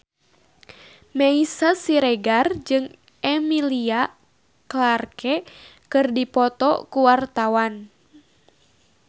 Meisya Siregar jeung Emilia Clarke keur dipoto ku wartawan